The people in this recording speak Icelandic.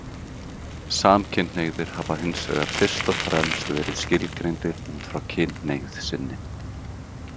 Samkynhneigðir hafa hins vegar fyrst og fremst verið skilgreindir út frá kynhneigð sinni.